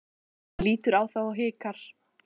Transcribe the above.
Hann lítur á þá og hikar.